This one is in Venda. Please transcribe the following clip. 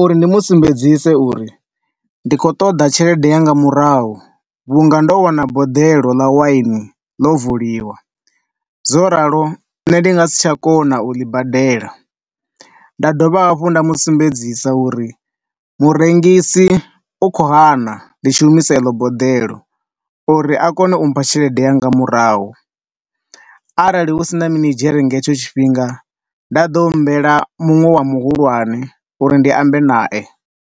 uri ndi mu sumbedzise uri ndi khou ṱoḓa tshelede yanga murahu vhunga ndo wana boḓelo ḽa wine ḽo vuliwa. Zwo ralo nṋe ndi nga si tsha kona u ḽi badela. Nda dovha hafhu nda musumbedzisa uri murengisi u kho hana ndi tshi humisa eḽo boḓelo uri a kone umpha tshelede yanga murahu. Arali husina minidzhere nga hetsho tshifhinga, nda ḓo humbela muṅwe wa muhulwane uri ndi ambe nae.